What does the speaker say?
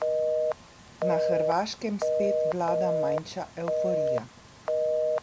Na Hrvaškem spet vlada manjša evforija.